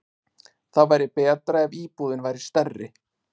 Það væri betra ef íbúðin væri stærri.